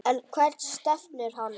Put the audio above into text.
En hvert stefnir hann?